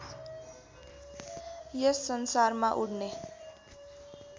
यस संसारमा उड्ने